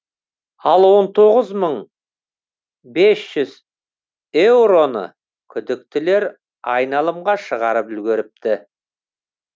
ал он тоғыз мың бес жүз еуроны күдіктілер айналымға шығарып үлгеріпті